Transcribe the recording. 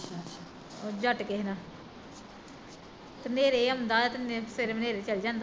ਜੱਟ ਕਿਸੇ ਦਾ ਤੇ ਨੇਰੇ ਆਉਂਦਾ ਤੇ ਸਵੇਰੇ ਨੇਰੇ ਚੱਲ ਜਾਂਦਾ